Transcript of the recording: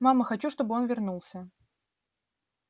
мама хочу чтобы он вернулся